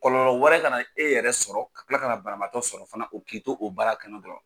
Kɔlɔlɔ wɛrɛ ka na e yɛrɛ sɔrɔ ka kila ka na banabatɔ sɔrɔ fana o k'i to o baara kɛnɛ dɔrɔn.